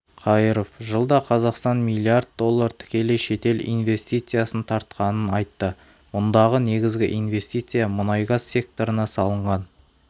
қайыров жылда қазақстан млрд доллар тікелей шетел инвестициясын тартқанын айтты мұндағы негізгі инвестиция мұнай-газ секторына салынған